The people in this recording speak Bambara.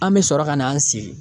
An bɛ sɔrɔ ka n'an sigi